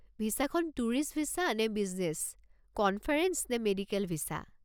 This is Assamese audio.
ভিছাখন টুৰিষ্ট ভিছা নে বিজনেছ, কনফাৰেঞ্চ নে মেডিকেল ভিছা?